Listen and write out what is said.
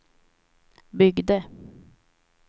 byggde